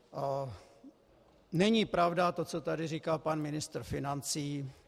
Není pravda to, co tady říkal pan ministr financí.